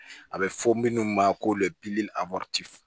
A bɛ fɔ minnu ma ko